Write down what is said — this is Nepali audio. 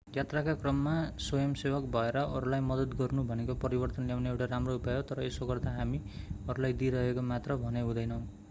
यात्राका क्रममा स्वयंसेवक भएर अरूलाई मद्दत गर्नु भनेको परिवर्तन ल्याउने एउटा राम्रो उपाय हो तर यसो गर्दा हामी अरूलाई दिइरहेका मात्र भने हुँदैनौं